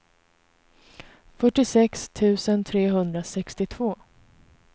fyrtiosex tusen trehundrasextiotvå